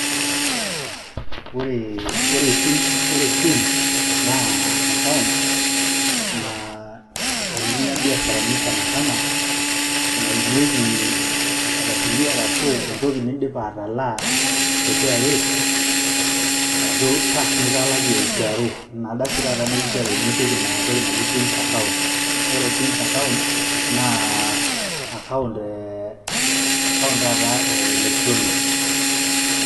Ore TIMS naa akaount, naitumia imbiasharani sanasana, naimieki inkardasini arashu toki nindipa atalaa te KRA, arashu tax nitalakie KRA. Ina kardasi dooshi taata kinchori pee ipik Ina toki naji TIMS akaount. Ore TIMS akaount naa akaount taata e electronic.